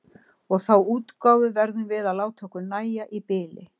Og þá útgáfu verðum við að láta okkur nægja í bili.